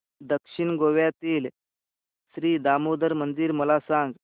दक्षिण गोव्यातील श्री दामोदर मंदिर मला सांग